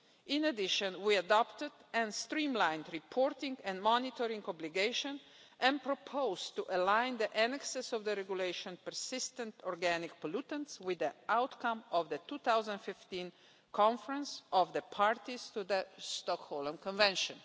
In addition, we adopted and streamlined reporting and monitoring obligations and proposed to align the annexes to the Regulation on Persistent Organic Pollutants with the outcome of the 2015 Conference of the Parties to the Stockholm Convention.